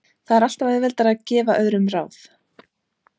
Það er alltaf auðveldara að gefa öðrum ráð.